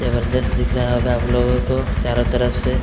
जबरजस्त दिख रहा होगा आप लोगों को चारों तरफ से--